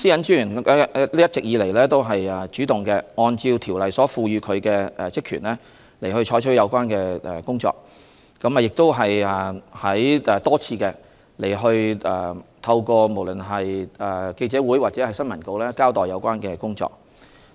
專員一直也主動按照《私隱條例》賦予他的職權進行有關的工作，亦多次透過記者會或新聞稿交代有關的工作。